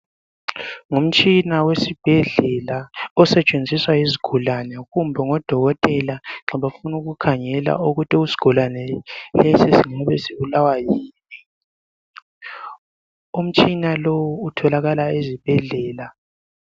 Ngumtshina wesibhedlela osetshenziswa yizigulane kumbe ngodokotela nxa befuna ukukhangela ukuthi isigulane lesi singabe sibulawa yini. Umntshina lowu utholakala ezibhedlela.